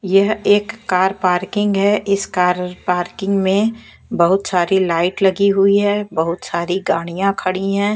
यह एक car parking है इस कार पार्किंग में बहुत सारी लाइट लगी हुई है बहुत सारी गाड़ियां खड़ी हैं।